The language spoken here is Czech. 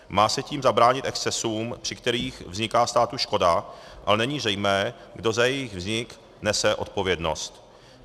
Má se tím zabránit excesům, při kterých vzniká státu škoda, ale není zřejmé, kdo za její vznik nese odpovědnost.